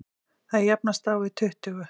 Þau jafnast á við tuttugu.